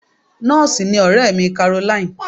Nọ́ọ̀sì ni ọ̀rẹ́ mi Caroline.